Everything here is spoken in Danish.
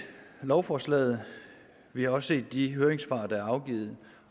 lovforslaget vi har også set de høringssvar der er blevet afgivet